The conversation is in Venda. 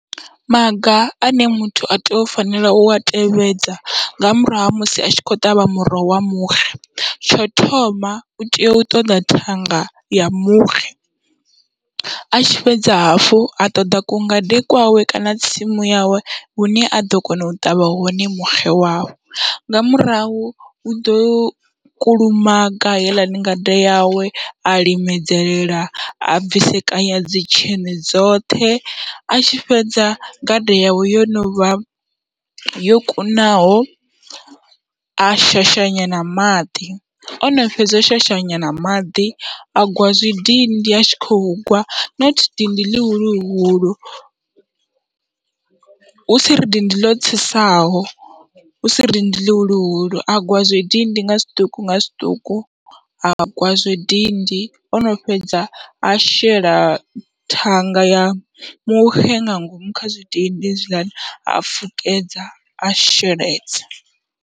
Maga ane muthu a tea u fanela ua tevhedza nga murahu ha musi atshi kho ṱavha muroho wa muxe, tsho thoma utea u ṱoḓa thanga ya muxe atshi fhedza hafhu a ṱoḓa ku ngade kwawe kana tsimu yawe hune aḓo kona u ṱavha hone muxe wawe, nga murahu uḓo kulumaga heiḽani ngade yawe a limedzelela a bvisekanya dzi tsheṋe dzoṱhe. Atshi fhedza gada yawe yo novha yo kunaho a shashanyana maḓi, ono fhedza u shashanyana maḓi a gwa zwidindi atshi khou gwa not dindi ḽihuluhuhulu, husi ri dindi ḽo tsesaho husi ri dindi ḽihulu a gwa zwidindi nga zwiṱuku nga zwiṱuku a gwa zwidindi ono fhedza a shela thanga ya muxe nga ngomu kha zwidindi hezwiḽani ha fukedza a sheledza.